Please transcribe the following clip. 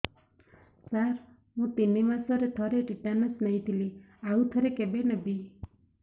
ସାର ମୁଁ ତିନି ମାସରେ ଥରେ ଟିଟାନସ ନେଇଥିଲି ଆଉ ଥରେ କେବେ ନେବି